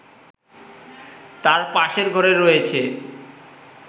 তার পাশের ঘরে রয়েছে